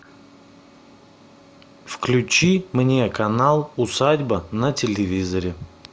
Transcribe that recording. включи мне канал усадьба на телевизоре